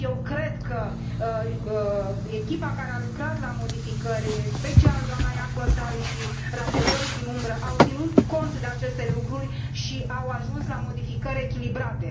Cred că echipa care a lucrat la modificări, în special dna Jaakonsaari și raportorii din umbră au ținut cont de aceste lucruri și au ajuns la modificări echilibrate.